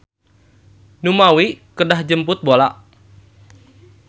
Numawi kedah jemput bola.